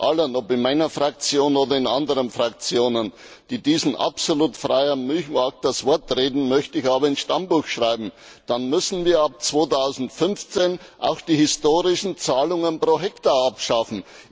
Allen, ob in meiner Fraktion oder in anderen Fraktionen, die diesem absolut freien Milchmarkt das Wort reden, möchte ich aber ins Stammbuch schreiben Dann müssen wir ab 2015 auch die historischen Zahlungen pro Hektar abschaffen.